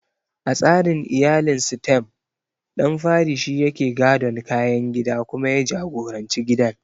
A tsarin iyalin Sitem, ɗan fari shi yake gadon kayan gida kuma ya jagoranci gidan.